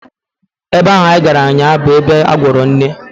Ebe ahụ anyị gara ụnyaahụ bụ ebe a gwọrọ nne